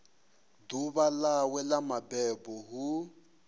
ḓuvha ḽawe ḽa mabebo hu